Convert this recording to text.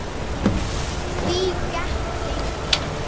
Því gekk lengi.